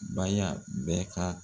Baya bɛɛ ka